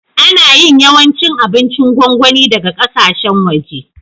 Ana yin yawancin abincin gongoni daga ƙasashen waje.